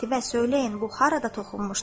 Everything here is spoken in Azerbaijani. Qətibə söyləyin bu harada toxunmuşdu?